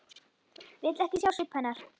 Vill ekki sjá svip hennar.